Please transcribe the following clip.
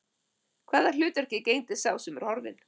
Hvaða hlutverki gegndi sá sem er horfinn?